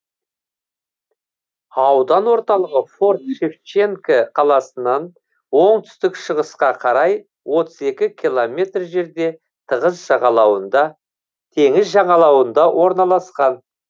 аудан орталығы форт шевченко қаласынан оңтүстік шығысқа қарай отыз екі километр жерде теңіз жағалауында орналасқан